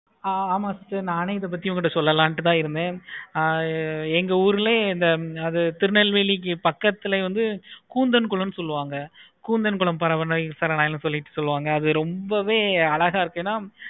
ஆஹ் ஆமா sister நானே இத பத்தி சொல்லலாம்னு தான் இருந்தேன். ஆஹ் எங்க உருளையே அத திருநெல்வேலி பக்கத்துலயே வந்து கூந்தல் குளம் சொல்லுவாங்க கூந்தல் குளம் பரவ இல்லை சொல்லிட்டு சொல்லுவாங்க ரொம்பவே அழகா இருக்கு.